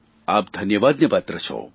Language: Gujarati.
આ ધન્યવાદને પાત્ર છો